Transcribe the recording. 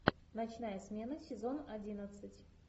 ночная смена сезон одиннадцать